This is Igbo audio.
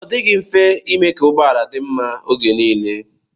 Ọ dịghị mfe ime ka ụgbọala dị mma oge nile.